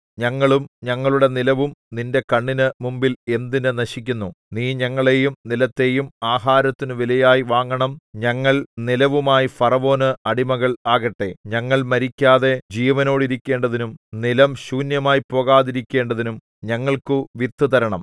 ഞങ്ങളും ഞങ്ങളുടെ നിലവും നിന്റെ കണ്ണിന് മുമ്പിൽ എന്തിന് നശിക്കുന്നു നീ ഞങ്ങളെയും നിലത്തെയും ആഹാരത്തിനു വിലയായി വാങ്ങണം ഞങ്ങൾ നിലവുമായി ഫറവോന് അടിമകൾ ആകട്ടെ ഞങ്ങൾ മരിക്കാതെ ജീവനോടിരിക്കേണ്ടതിനും നിലം ശൂന്യമായി പോകാതിരിക്കേണ്ടതിനും ഞങ്ങൾക്കു വിത്ത് തരണം